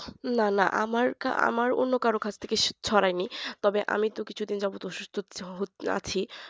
না না আমার অন্য কারো কাছ থেকে ছড়ায়নি তবে আমি তো কিছুদিন যাবতীয় অসুস্থ আছি